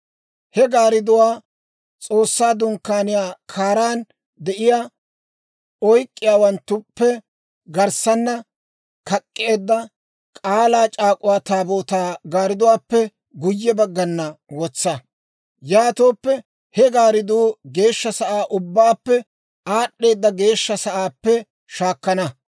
He gaardduwaa S'oossaa Dunkkaaniyaa kaaran de'iyaa oyk'k'iyaawanttuppe garssanna kak'k'eedda, K'aalaa C'aak'uwaa Taabootaa gaardduwaappe guyye baggan wotsa; yaatooppe he gaardduu Geeshsha sa'aa Ubbaappe Aad'd'eedda Geeshsha Sa'aappe shaakana.